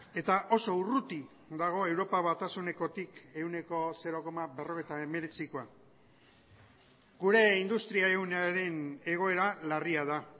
eta oso urruti dago europa batasunekotik ehuneko zero koma berrogeita hemeretzikoa gure industria ehunaren egoera larria da